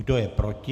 Kdo je proti?